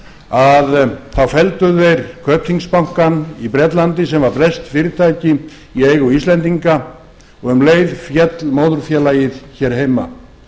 að þá felldu þeir kaupþingsbankann í bretlandi sem var breskt fyrirtæki í eigu íslendinga og um leið féll móðurfélagið hér heima